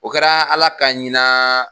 O kɛra ala ka hinaaa.